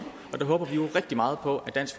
og der håber vi jo rigtig meget på at dansk